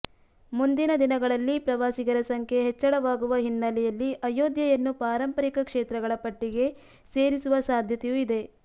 ಮುಂದಿನ ದಿನಗಳಲ್ಲಿ ಪ್ರವಾಸಿಗರ ಸಂಖ್ಯೆ ಹೆಚ್ಚಳವಾಗುವ ಹಿನ್ನೆಲೆಯಲ್ಲಿ ಅಯೋಧ್ಯೆಯನ್ನು ಪಾರಂಪರಿಕ ಕ್ಷೇತ್ರಗಳ ಪಟ್ಟಿಗೆ ಸೇರಿಸುವ ಸಾಧ್ಯತೆಯೂ ಇದೆ